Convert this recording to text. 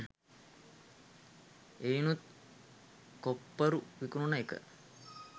එයිනුත් කොප්පරු විකුනන එක